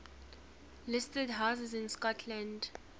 listed houses in scotland